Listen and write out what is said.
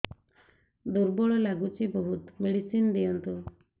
ଦୁର୍ବଳ ଲାଗୁଚି ବହୁତ ମେଡିସିନ ଦିଅନ୍ତୁ